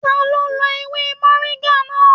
Ta lo lọ ewé moringa náà?